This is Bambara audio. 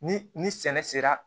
Ni ni sɛnɛ sera